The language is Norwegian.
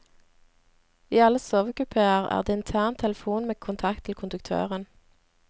I alle sovekupéer er det intern telefon med kontakt til konduktøren.